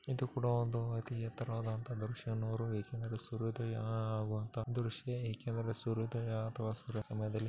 ಇದು ಕುಡಾ ಒಂದು ಅತಿ ಎತ್ತರವಾದಂಥಹ ದೃಶ್ಯ ಏಕೆ ಅಂದರೆ ಸೂರ್ಯೋದಯ ಆಗುವಂತಹ ದೃಶ್ಯ ಏಕೆ ಅಂದ್ರೆ ಸೂರ್ಯೋದಯ ಅಥವಾ ಸೂರ್ಯ ಸಮಯದಲ್ಲಿ --